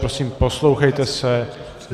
Prosím, poslouchejte se!